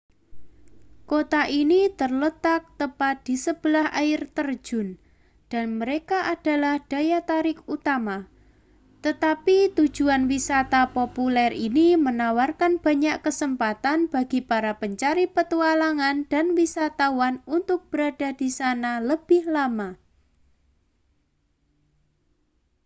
kota ini terletak tepat di sebelah air terjun dan mereka adalah daya tarik utama tetapi tujuan wisata populer ini menawarkan banyak kesempatan bagi para pencari petualangan dan wisatawan untuk berada di sana lebih lama